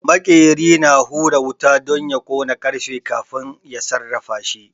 Maƙeri ya hura wuta don ya ƙona ƙarfe kafin ya sarrafashi